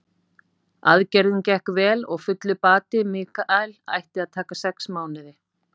Aðgerðin gekk vel og fullur bati Michael ætti að taka sex mánuði.